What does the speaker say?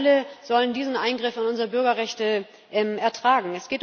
Wir alle sollen diesen Eingriff in unsere Bürgerrechte ertragen.